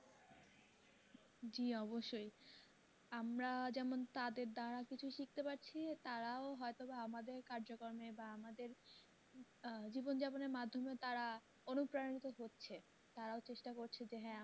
জি অবশ্যই আমরা যেমন তাদের দ্বারা কিছু শিখতে পারছি তারাও হয়তো আমাদের কার্যক্রম বা আমাদের আহ জীবন যাপনের মাধ্যমে তারা অনুপ্রাণিত হচ্ছে তারাও চেষ্টা করছে যে হ্যাঁ